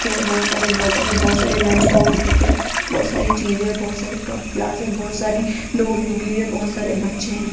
के बहोत सारे बॉटल है बहोत सारे लंच बॉक्स रखे बहोत सारी चीजें है बहोत सारी कप ग्लास है बहोत सारी नोट बुक भी है बहोत सारे बच्चे है।